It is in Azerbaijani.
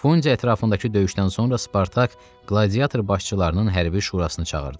Fundi ətrafındakı döyüşdən sonra Spartak qladiator başçılarının hərbi şurasını çağırdı.